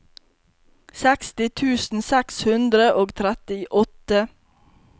seksti tusen seks hundre og trettiåtte